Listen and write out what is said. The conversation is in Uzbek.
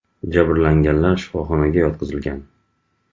Jabrlanganlar shifoxonaga yotqizilgan.